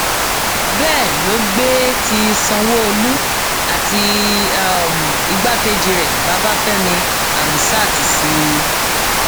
bẹẹ ló gbé ti sanwóolu àti um igbákejì rẹ babafẹmi hamsat sí i